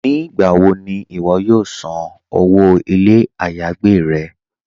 Nígbàwọ̀ ni iwọ̀ yóò sàn owó ilẹ̀-ayégbè rẹ̀?